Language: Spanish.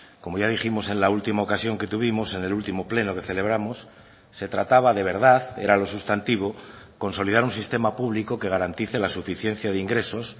como ya dijimos en la última ocasión que tuvimos en el último pleno que celebramos se trataba de verdad era lo sustantivo consolidar un sistema público que garantice la suficiencia de ingresos